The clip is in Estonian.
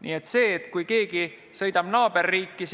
Nii et kui keegi sõidab naaberriiki